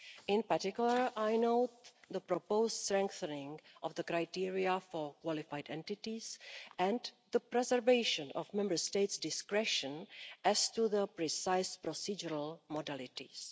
In particular, I note the proposed strengthening of the criteria for qualified entities and the preservation of Member States' discretion as to the precise procedural modalities.